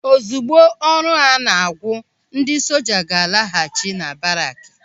Ozigbo ọrụ a na-agwu, ndị soja ga-alaghachi na baraaki.